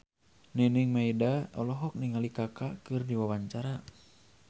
Nining Meida olohok ningali Kaka keur diwawancara